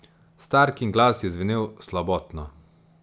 Starkin glas je zvenel slabotno.